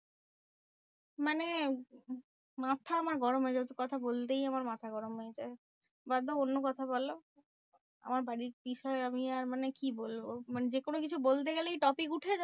মানে মাথা আমার গরম হয়ে যাচ্ছে কথা বলতেই আমার মাথা গরম হয়ে যায়। বাদ দাও অন্য কথা বলো। আমার বাড়ির বিষয় আমি আর মানে কি বলবো? মানে যে কোনো কিছু বলতে গেলেই topic উঠে যায়